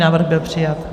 Návrh byl přijat.